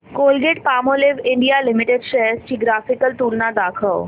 Colgate Palmolive India limited shares ची graphical तुलना दाखव